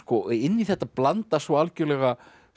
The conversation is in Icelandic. inn í þetta blandast svo algjörlega